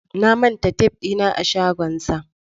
Na manta tef dina a shagonsa.